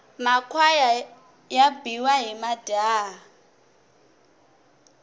makhwaya ya biwa hi majaha